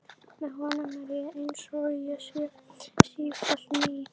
Með honum er ég einsog ég sé sífellt ný.